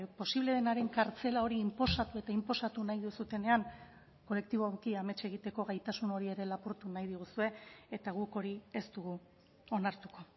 posible denaren kartzela hori inposatu eta inposatu nahi duzuenean kolektiboki amets egiteko gaitasun hori ere lapurtu nahi diguzue eta guk hori ez dugu onartuko